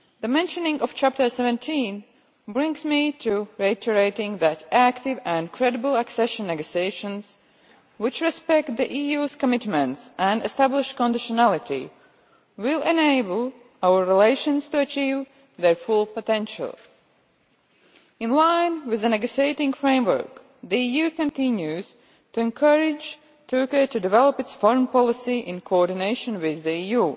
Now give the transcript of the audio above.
Mentioning Chapter 17 brings me to reiterate that active and credible accession negotiations, which respect the EU's commitments and establish conditionality, will enable our relations to achieve their full potential. In line with the negotiating framework, the EU continues to encourage Turkey to develop its foreign policy, in coordination with the EU,